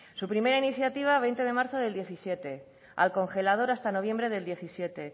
su primera iniciativa veinte de marzo del diecisiete al congelador hasta noviembre del diecisiete